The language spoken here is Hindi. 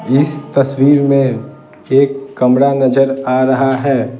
इस तस्वीर में एक कमरा नजर आ रहा है ।